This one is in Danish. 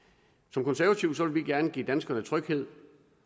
som konservative vil vi gerne give danskerne tryghed